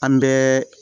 An bɛ